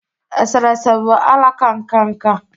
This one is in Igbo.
eserese bụ alaka nka nka